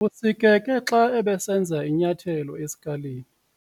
Usikeke xa ebesenza inyathelo esikalini.